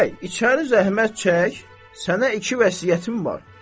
Bəy, içəri zəhmət çək, sənə iki vəsiyyətim var.